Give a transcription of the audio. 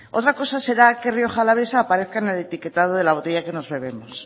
otra cosa será que rioja alavesa aparezca en el etiquetado de la botella que nos bebemos